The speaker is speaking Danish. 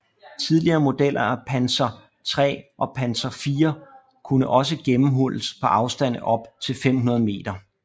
Tidligere modeller af Panzer III og Panzer IV kunne også gennemhulles på afstande op til 500 m